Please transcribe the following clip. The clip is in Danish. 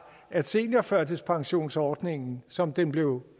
at seniorførtidspensionsordningen som den blev